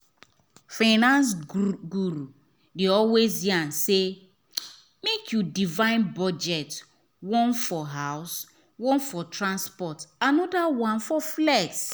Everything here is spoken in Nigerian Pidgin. finance guru dey always yarn say make you divide budget one for house one for transport another one for flex.